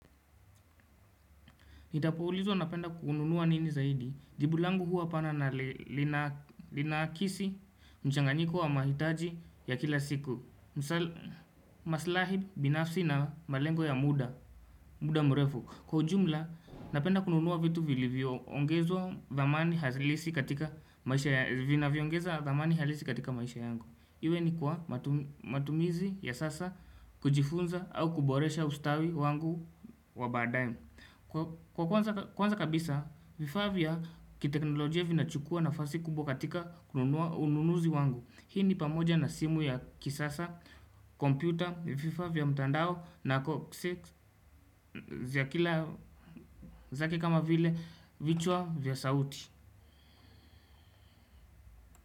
Nitapoulizwa napenda kununua nini zaidi, jibulangu huwa pana na linakisi mchanganyiko wa mahitaji ya kila siku misal, maslahi, binafsi na malengo ya muda, muda mrefu. Kwa ujumla, napenda kununua vitu vilivyoongeza dhamani halisi katika maisha yangu. Iwe ni kwa matumizi ya sasa kujifunza au kuboresha ustawi wangu wa baada ye. Kwa kwanza kabisa, vifaa vya kiteknolojia vinachukua nafasi kubwa katika ununuzi wangu. Hii ni pamoja na simu ya kisasa, kompyuta, vifaa vya mtandao na kosek za kila zake kama vile vichwa vya sauti.